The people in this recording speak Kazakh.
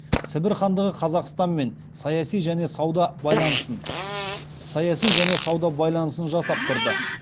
сібір хандығы қазақстанмен саяси және сауда байланысын жасап тұрды